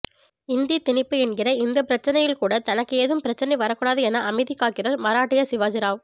இந்தி திணிப்பு என்கிற இந்த பிரச்சனையில் கூட தனக்கு ஏதும் பிரச்சனை வரக்கூடாது என அமைதி காக்கிறார் மராட்டிய சிவாஜிராவ்